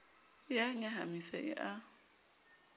e a nyahamisa e a